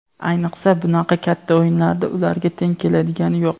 Ayniqsa bunaqa katta o‘yinlarda ularga teng keladigani yo‘q.